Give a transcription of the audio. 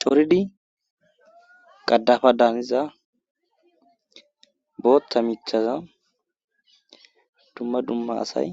Coridi qadafa daaniza booththa michaza dumma dumma asay